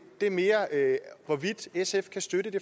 det er mere hvorvidt sf kan støtte det